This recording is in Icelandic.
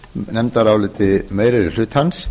nefndaráliti meiri hlutans